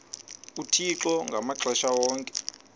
uthixo ngamaxesha onke